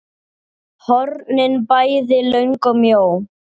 hornin bæði löng og mjó.